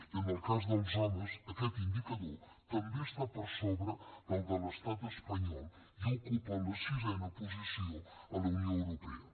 i en el cas dels homes aquest indicador també està per sobre del de l’estat espanyol i ocupa la sisena posició a la unió europea